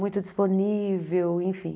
Muito disponível, enfim.